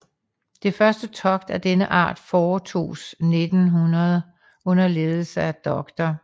Det første togt af denne art foretoges 1900 under ledelse af dr